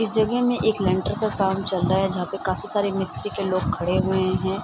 इस जगह में एक लिंटर का काम चल रहा है जहाँ पे काफी सारे मिस्त्री के लोग खड़े हुए हैं।